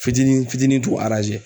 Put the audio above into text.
Fitinin fitinin t'u aranze